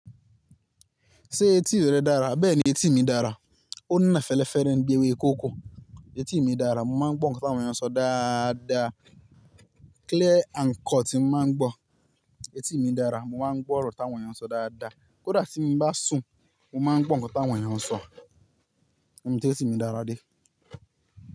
Ṣé etí rẹ dára? Bẹ́ẹ̀ni etí mi dára. Ó na fẹlẹ́fẹ́rẹ́ ńibi éwé kóko. Etí mi dára, mo máa ń gbó ńkán tí àwọn èèyàn sọ dáadaa. Clear and cut máa ń gbó. Etí mi dára, mo máa ń gbọ́ ọ̀rọ̀ tí àwọn èèyàn sọ dáadáa. Kódà tí mo bá sùn, mo máa ń gbó ńkán tí àwọn èèyàn sọ. Níbi tí etí mi dára dé.